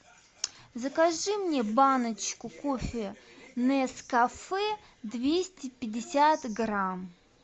закажи мне баночку кофе нескафе двести пятьдесят грамм